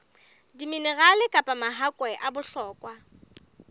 diminerale kapa mahakwe a bohlokwa